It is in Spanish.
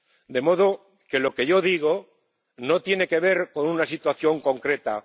De modo que lo que yo digo no tiene que ver con una situación concreta.